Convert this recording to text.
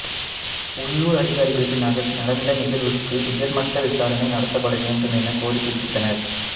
உள்ளூர் அதிகாரிகள் நடந்த நிகழ்வுக்கு உயர்மட்ட விசாரணை நடத்தப்பட வேண்டும் எனக் கோரிக்கை விடுத்தனர்